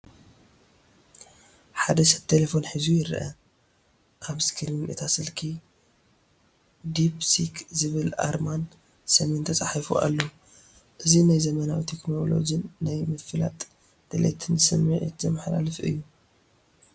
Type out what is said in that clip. ሓደ ሰብ ቴለፎን ሒዙ ይርአ። ኣብ ስክሪን እታ ስልኪ "DeepSeek" ዝብል ኣርማን ስምን ተጻሒፉ ኣሎ። እዚ ናይ ዘመናዊ ቴክኖሎጅን ናይ ምፍላጥ ድሌትን ስምዒት ዘመሓላልፍ እዩ።